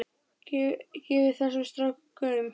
Gefið þessum strák gaum.